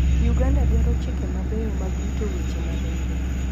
Uganda dwaro chike mabeyo mag rito weche maling'ling'.